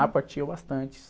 Ah, partiam bastante.